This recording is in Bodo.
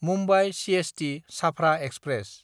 मुम्बाइ सिएसटि–छाफ्रा एक्सप्रेस